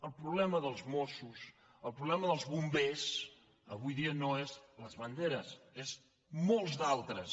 el problema dels mossos el problema dels bombers avui dia no són les banderes en són molts d’altres